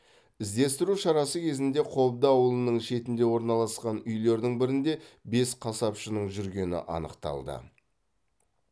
іздестіру шарасы кезінде қобда ауылының шетінде орналасқан үйлердің бірінде бес қасапшының жүргені анықталды